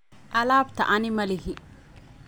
Alabta anii malixii.